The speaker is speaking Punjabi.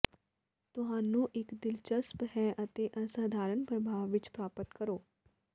ਤੁਹਾਨੂੰ ਇੱਕ ਦਿਲਚਸਪ ਹੈ ਅਤੇ ਅਸਾਧਾਰਨ ਪ੍ਰਭਾਵ ਵਿੱਚ ਪ੍ਰਾਪਤ ਕਰੋ